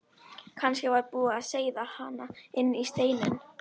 Kannski var búið að seiða hana inn í steininn?